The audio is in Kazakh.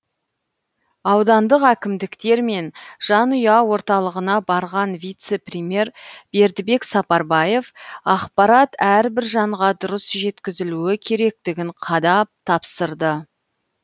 аудандық әкімдіктер мен жанұя орталығына барған вице премьер бердібек сапарбаев ақпарат әрбір жанға дұрыс жеткізілуі керектігін қадап тапсырды